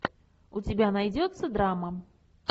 у тебя найдется драма